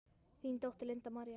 Þín dóttir, Linda María.